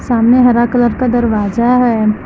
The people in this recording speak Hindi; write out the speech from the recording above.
सामने हरा कलर का दरवाजा है।